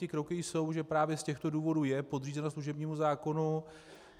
Ty kroky jsou, že právě z těchto důvodů je podřízenost služebnímu zákonu.